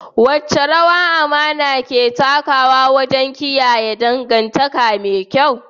Wace rawa amana ke takawa wajen kiyaye dangantaka me kyau?